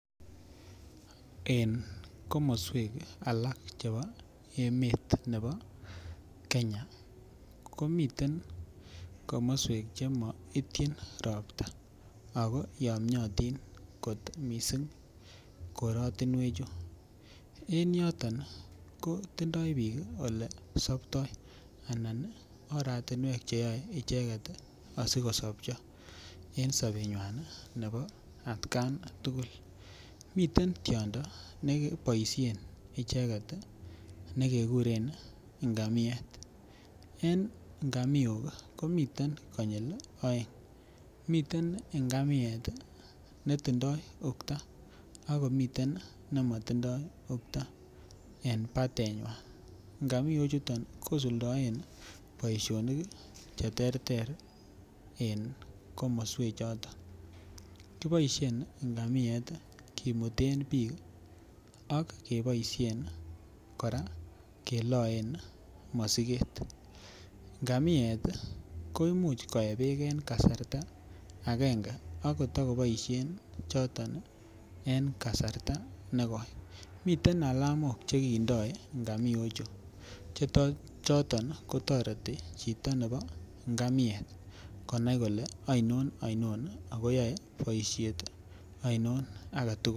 En komoswek alak chebo emet nebo Kenya komiten komoswek chemaitchin ropta ako yomiotin kot mising korotinwek chu en yoton ko tindoi biik oleo soptoii ana oratunwek cheyoei icheket asikosopcho eng sobetng'wai nebo atkan tugul miten tiondo nekeboishen icheget nekekuren ingamiet en ngamiok komiten konyil oeng miten ngamiet netindoi okto akomiten nimatindoi okto en batenywan ngamiok chuton kosuldoen boishonik cheterter eng komoswek choton kiboishe ngamiet kimuten biik ak keboishen kora keloen mosiket ngamiet koimuch koe beek eng kasarta akenge akotoko boishen choton en kasarta nekoi miten alamok chekidoi ngamiok chu chechoton kotoreti chito nebo ngamiet konai kole aino aino akoyoe boishet aino age tugul.